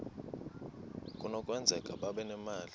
kunokwenzeka babe nemali